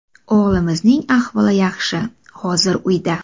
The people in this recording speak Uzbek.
O‘g‘limizning ahvoli yaxshi, hozir uyda.